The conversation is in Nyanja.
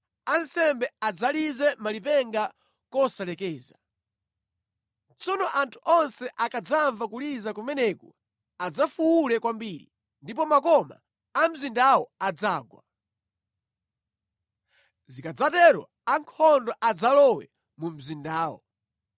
Ansembe adzalize malipenga kosalekeza. Tsono anthu onse akadzamva kuliza kumeneku adzafuwule kwambiri, ndipo makoma a mzindawo adzagwa. Zikadzatero ankhondo adzalowe mu mzindawo.”